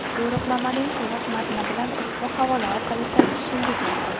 Yo‘riqnomaning to‘liq matni bilan ushbu havola bo‘yicha tanishishingiz mumkin.